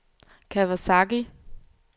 Kawasaki